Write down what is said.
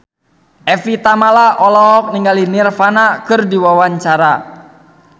Evie Tamala olohok ningali Nirvana keur diwawancara